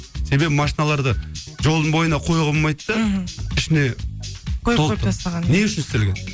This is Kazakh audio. себебі машиналарды жолдың бойына қоюға болмайды да мхм ішіне толып тұр не үшін істелген